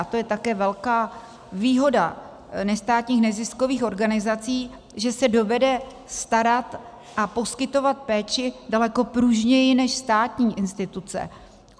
A to je také velká výhoda nestátních neziskových organizací, že se dovedou starat a poskytovat péči daleko pružněji než státní instituce.